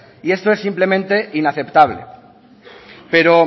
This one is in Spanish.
y esto es simplemente inaceptable pero